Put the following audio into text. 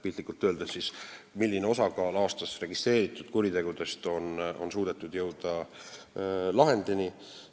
Piltlikult öeldes näitab see seda, milline on aastas registreeritud kuritegude hulgas nende osakaal, mille puhul on suudetud jõuda lahendini.